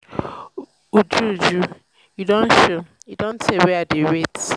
uju uju you don show? e don tey wey i dey wait